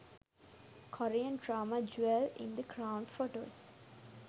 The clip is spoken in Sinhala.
korean drama jewel in the crown photos